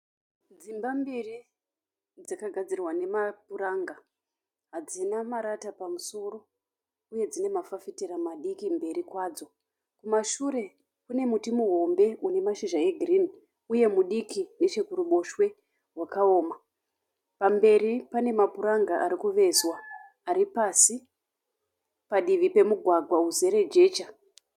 Dzimba mbiri dzakagadzirwa nemapuranga. Hadzina marata pamusoro uye dzinamafafitera madiki mberi kwadzo. Kumashure kune muti muhombe unemazhizha egirini uye mudiki nechekuruboshwe wakaoma. Pamberi pane mapuranga arikuvezwa aripasi padivi pemugwagwa uzere jecha.